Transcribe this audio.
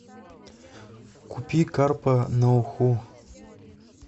купи карпа на уху